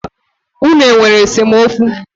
Unu e nwere esemokwu?